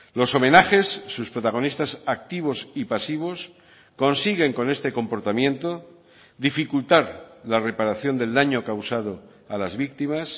los homenajes sus protagonistas activos y pasivos consiguen con este comportamiento dificultar la reparación del daño causado a las víctimas